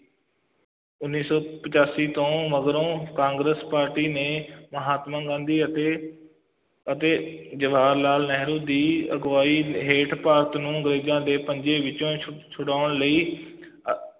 ਉੱਨੀ ਸੌ ਪਚਾਸੀ ਤੋਂ ਮਗਰੋਂ ਕਾਂਗਰਸ ਪਾਰਟੀ ਨੇ ਮਹਾਤਮਾ ਗਾਂਧੀ ਅਤੇ ਅਤੇ ਜਵਾਹਰ ਲਾਲ ਨਹਿਰੂ ਦੀ ਅਗਵਾਈ ਹੇਠ ਭਾਰਤ ਨੂੰ ਅੰਗਰੇਜ਼ਾਂ ਦੇ ਪੰਜੇ ਵਿੱਚੋਂ ਛੁ ਛੁਡਾਉਣ ਲਈ ਅਹ